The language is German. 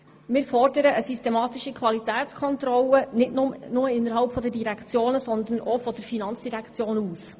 Wir fordern eine systematische Qualitätskontrolle, nicht nur innerhalb der Direktionen, sondern auch von Seiten der FIN.